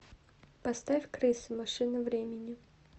поставь крысы машина времени